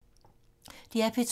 DR P2